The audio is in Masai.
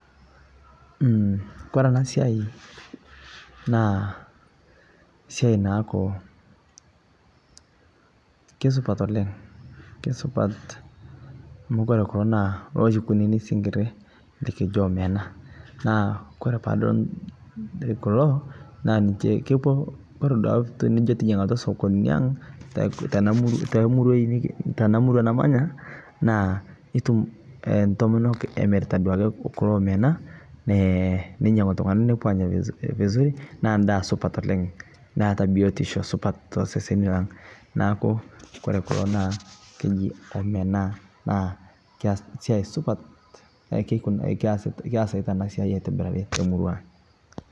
Umh kore ana sia naa siai naaku kesupat oleng. Kesupat amu kore kuloo naa loshii kunini sing'irii likijoo omena naa kore paa adol kuloo naa ninchee kepoo, kore duake tinijoo tijing'aa sokonini ang' te tana te muruai tana murua namanyaa naa etuum ntomonook amiritaa duake kuloo Omena mee nenyang'uu ltung'ana nepoo anyaa vizuri naa ndaa supat oleng neeta biotisho to seseni. Naaku kore kuloo naa kejii Omena naa keaas siai supaat keisita ana siai aitibirari te murua.